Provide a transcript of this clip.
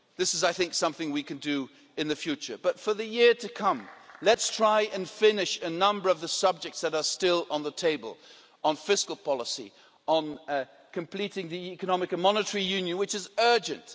This is, I think, something we can do in the future, but for the year to come, let's try and finish a number of the subjects that are still on the table on fiscal policy, on completing the economic and monetary union, which is urgent.